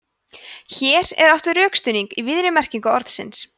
hér er átt við rökstuðning í víðri merkingu orðsins